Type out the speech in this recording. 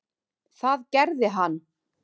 Það gerði hann.